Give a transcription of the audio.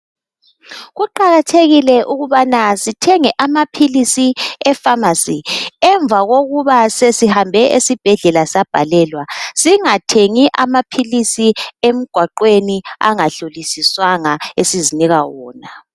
Kuqakathekile ukubana sithenge amaphilisi eFamasi. Emva kokuba sesihambe esibhedlela sabhalelwa singathengi amaphilisi emigwaqweni angahlolisiswanga esizinika wona .